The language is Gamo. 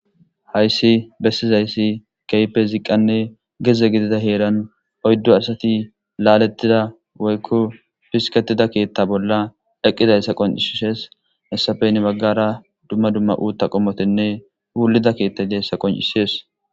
Hayssi bessizayssi keypeziqanne geze gidida heeran oyddu asati laalettida woykku fisketida keetta bolla eqqizayssa qoncisisees essafen baggara dumma dumma uutta qommotinne wulida keetta deessa qoncisees.